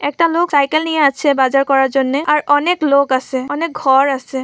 একটা লোক সাইকেল নিয়ে আছে বাজার করার জন্য। আর অনেক লোক আসে। অনেক ঘর আসে।